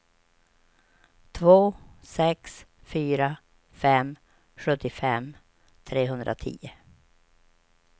två sex fyra fem sjuttiofem trehundratio